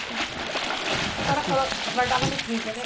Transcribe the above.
só que. A senhora falou, guardava no freezer, né?